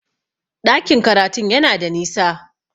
Ɗakin karatun yana da nisa